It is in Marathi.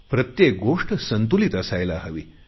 प्रत्येक गोष्ट संतुलीत असायला हवी